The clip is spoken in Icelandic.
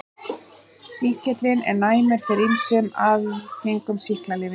Sýkillinn er næmur fyrir ýmsum algengum sýklalyfjum.